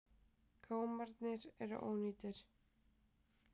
Gámarnir eru ónýtir.